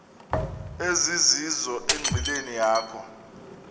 ezizizo enqileni yakho